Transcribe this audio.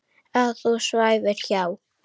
Að þú svæfir hjá.